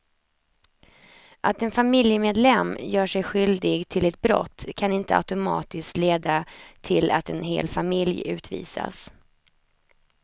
Att en familjemedlem gör sig skyldig till ett brott kan inte automatiskt leda till att en hel familj utvisas.